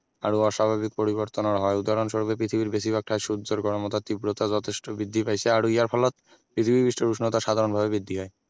আৰু অস্বাভাৱিক পৰিবৰ্তনৰ হয় উদাহণস্বৰূপে পৃথিৱীৰ বেছিভাগ ঠাইত সূৰ্য্যৰ গৰমৰ তাপ তীব্ৰতা যথেষ্ট বৃদ্ধি পাইছে আৰু ইয়াৰ ফলত পৃথিৱীৰ পৃষ্ঠৰ উষ্ণতা সাধাৰণভাৱে বৃদ্ধি হয়